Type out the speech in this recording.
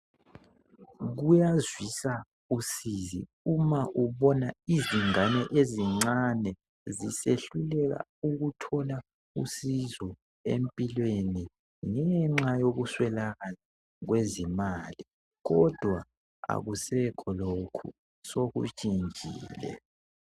Kuyazwisa usizi uma ubona izingane ezincane zisehluleka ukuthola usizo empilweni ngenxa yokuswelakala kwezimali, kodwa akusekho lokho sokutshintshile.